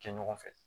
Kɛ ɲɔgɔn fɛ